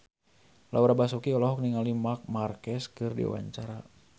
Laura Basuki olohok ningali Marc Marquez keur diwawancara